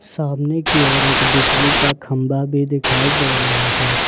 सामने की ओर एक बिजली का खंभा भी दिखाई दे रहा है।